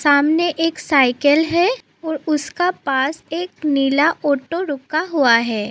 सामने एक साइकिल है और उसके पास एक नीला ऑटो रुका हुआ है।